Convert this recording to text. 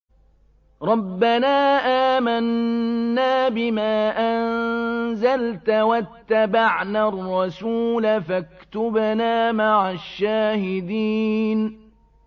رَبَّنَا آمَنَّا بِمَا أَنزَلْتَ وَاتَّبَعْنَا الرَّسُولَ فَاكْتُبْنَا مَعَ الشَّاهِدِينَ